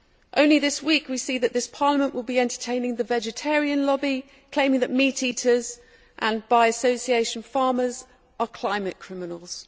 Only this week we see that this Parliament will be entertaining the vegetarian lobby, claiming that meat eaters and, by association, farmers, are climate criminals.